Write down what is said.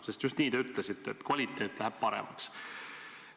Sest just nii te ütlesite: kvaliteet läheb paremaks.